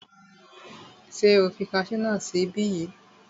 Ṣé o fi kasú náà sí ibí yìí?